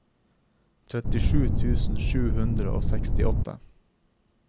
trettisju tusen sju hundre og sekstiåtte